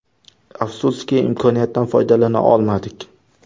Afsuski, imkoniyatdan foydalana olmadik.